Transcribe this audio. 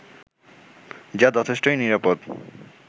যা যথেষ্টই নিরাপদ